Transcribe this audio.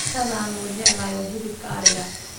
Cuntada aan ugu jecelahay waa hilibka ariga.